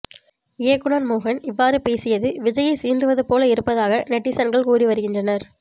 இயக்குனர் மோகன் இவ்வாறு பேசியது விஜயை சீண்டுவது போல இருப்பதாக நெட்டிசன்கள் கூறி வருகின்றனர்